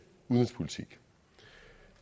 udenrigspolitik